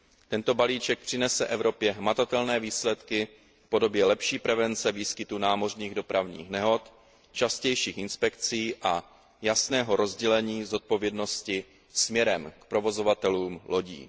Tento balíček přinese Evropě hmatatelné výsledky v podobě lepší prevence výskytu námořních dopravních nehod, častějších inspekcí a jasného rozdělení zodpovědnosti směrem k provozovatelům lodí.